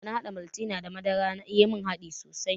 Dana haɗa maltina da madara ya mun dadi sosai.